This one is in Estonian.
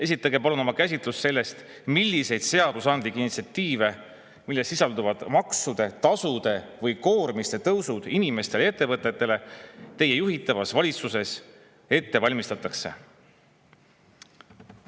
Esitage palun oma käsitlus sellest, milliseid seadusandlikke initsiatiive, milles sisalduvad maksude, tasude või koormiste tõusud inimestele ja ettevõtetele, teie juhitavas valitsuses ette valmistatakse?